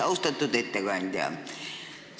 Austatud ettekandja!